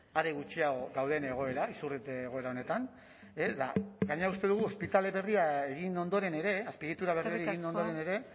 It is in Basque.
are gutxiago gauden egoera izurrite egoera honetan gainera uste dugu ospitale berria egin ondoren ere azpiegitura berriak egin ondoren ere